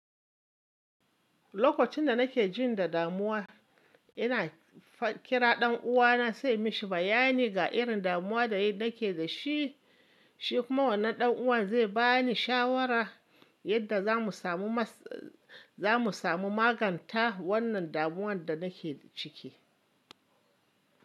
Lokacin da nake jin damuwa ina kira ɗan uwana sai mishi bayani ga irin damuwa da nake da shi. Shi kuma wannan ɗan uwan zai bani shawara yadda za mu samu maganta wannan damuwan da nake ciki.